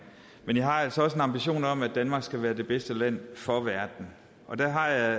men jeg har altså også en ambition om at danmark skal være det bedste land for verden og der